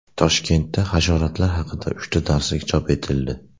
Toshkentda hasharotlar haqida uchta darslik chop etildi.